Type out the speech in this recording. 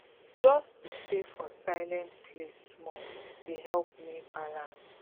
just to stay for silent place small dey help me balance